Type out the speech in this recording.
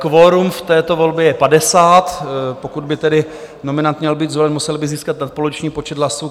Kvorum v této volbě je 50, pokud by tedy nominant měl být zvolen, musel by získat nadpoloviční počet hlasů.